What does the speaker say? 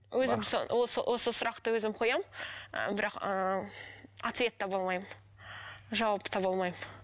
өзім осы сұрақты өзім қоямын ы бірақ ыыы ответ таба алмаймын жауап таба алмаймын